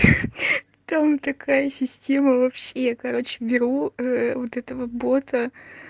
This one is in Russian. там такая система вообще я короче беру вот этого бота